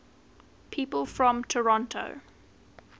people from toronto